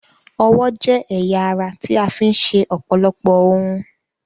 Ọwọ́ jẹ́ ẹ̀ya ara tí a fi ń ṣe ọ̀pọ̀lọpọ̀ ohun.